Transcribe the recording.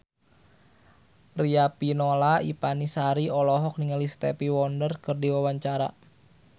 Riafinola Ifani Sari olohok ningali Stevie Wonder keur diwawancara